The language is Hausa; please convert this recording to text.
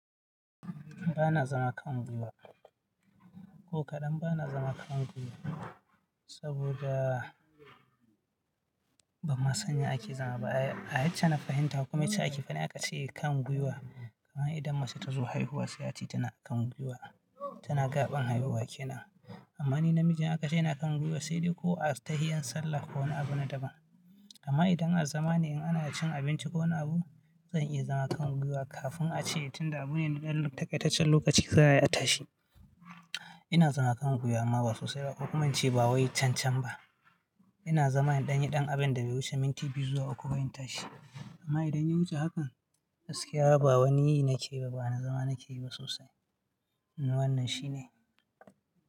Ba na zama kan gwiwa. Ko kaɗan ba na zama kan gwiwa. Saboda ba ma sani ake zama ba. A yace na fahimta kuma yace ake faɗi aka ce kan gwiwa. Amma idan mace ta zo haihuwa sai hati tana kan gwiwa, tana gaɓan haihuwa ke nan. Amma ni namiji aka ce ina kan gwiwa sai dai ko a tahiyan sallah ko wani abu na daban. Amma idan a zama ne in ana cin abinci ko wani abu, zan iya zama kan gwiwa kafin a ce tun da abune da ɗan takaitaccen lokaci za ayi a tashi. Ina zama kan gwiya amma ba sosai ba kuma in ce ba wai cancan ba. Ina zama in ɗan yi ɗan abinda bai wuce minti biyu zuwa uku ba in tashi. Amma idan ya wuce hakan gaskiya, ba wani yi nake ba, ba na zama nake yi ba sosai. Wanna shine.